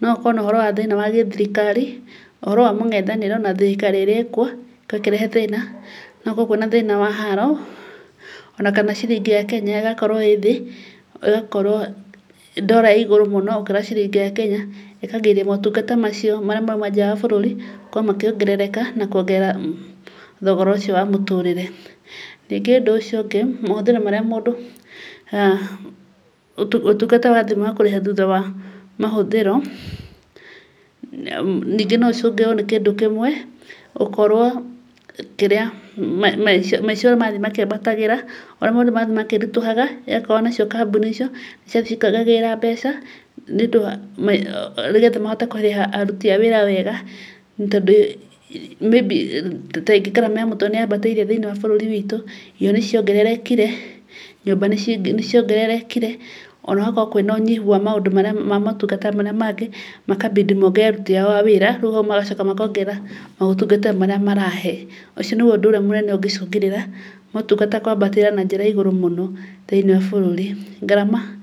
noũkorwo nĩ thĩna wa gĩthirikari, ũhoro wa mũng'ethanĩro na thirikari ĩrĩa ĩrĩkuo, gũkorwo ĩkĩrehe thĩna wa haaro, ona kana ciringi ya Kenya ĩgakorwo ĩthĩ, ĩgakorwo ndora ĩigũrũ mũno gũkĩra ciringĩ ya Kenya, igacungĩrĩria motungata macio marĩa maumaga nja wa bũrũri, gũkorwo makĩongerereka na kũongerera thogora ũcio wa mũtũrĩre. Rĩngĩ ũndũ ũcio ũngĩ, mahũthĩro marĩa mũndũ, ũtungata wa mũndũ kũrĩha thutha wa mahũthĩro, ningĩ no ĩcũngĩrĩrio nĩ kĩndũ kĩmwe, gũkorwo kĩrĩa, maica ũrĩa marathiĩ makĩambatagĩra, oũrĩa maũndũ marathiĩ makĩritũhaga, igakorwo nacio kambuni icio, cigathiĩ cikiongagĩrĩra mbeca, nĩgetha mahote kũrĩha aruti a wĩra wega, tondũ maybe tarĩngĩ ngarama iya kũtũrire nĩ ĩthiĩte ĩkĩambatagĩra bũrũri-inĩ witũ, indo ũrĩa ciongererekire, nyũmba nĩ ciongererekire, ona gũgakorwo kwĩna ũnyihu wa motungata marĩa mangĩ, makambindi mongerere aruti ao a wĩra nĩguo magacoka makongerera maũtungata marĩa maraheyo. Ũcio nĩ ũndũ ũrĩa mũnene ũngĩcũngĩrĩra motungata kwambatĩra na njĩra yaigũru mũno, thĩinĩ wa bũrũri. Ngarama